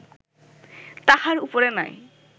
তাহার উপরে নাই